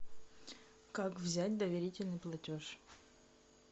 как взять доверительный платеж